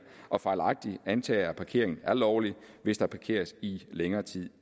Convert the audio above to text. og fejlagtigt antager at parkering er lovligt hvis der parkeres i længere tid